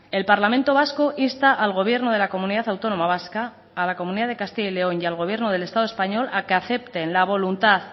el parlamento vasco insta al gobierno de la comunidad autónoma vasca a la comunidad de castilla y león y al gobierno del estado español a que acepten la voluntad